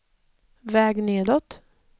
väg nedåt